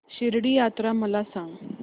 शिर्डी यात्रा मला सांग